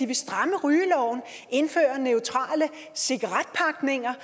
vil stramme rygeloven indføre neutrale cigaretpakninger